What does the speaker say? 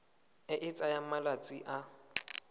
e e tsayang malatsi a